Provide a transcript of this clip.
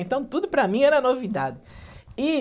Então tudo para mim era novidade. E,